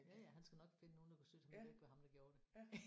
Ja ja han skal nok finde nogle der kunne støtte ham i det ikke var ham der gjorde det